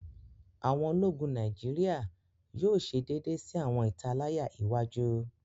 Awọn Ológùn Nàìjíríà yóò ṣe déédé sí awọn italaya iwájú